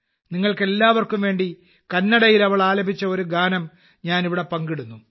നിങ്ങൾക്കെല്ലാവർക്കും വേണ്ടി കന്നഡയിൽ അവൾ ആലപിച്ച ഒരു ഗാനം ഞാനിവിടെ പങ്കിടുന്നു